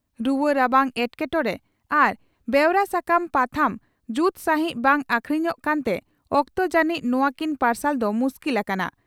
ᱨᱩᱣᱟᱹ ᱨᱟᱵᱟᱝ ᱮᱴᱠᱮᱴᱚᱬᱮ ᱟᱨ ᱵᱮᱣᱨᱟ ᱥᱟᱠᱟᱢ/ᱯᱟᱛᱷᱟᱢ ᱡᱩᱛ ᱥᱟᱸᱦᱤᱡ ᱵᱟᱝ ᱟᱠᱷᱨᱤᱧᱚᱜ ᱠᱟᱱᱛᱮ ᱚᱠᱛᱚ ᱡᱟᱹᱱᱤᱡ ᱱᱚᱣᱟᱠᱤᱱ ᱯᱟᱨᱥᱟᱞ ᱫᱚ ᱢᱩᱥᱠᱤᱞ ᱟᱠᱟᱱᱟ ᱾